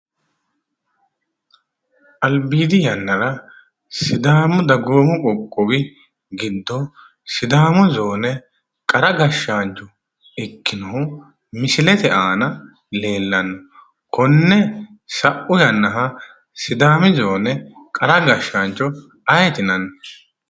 Albiidi yannara sidaamu dagoomu qoqqowi giddo sidaamu zoone qara gashshaancho ikkinohu misilete aana leeltanno. Konne sau yannaha sidaamu zoone qara gashshaancho ayeeti yinanni?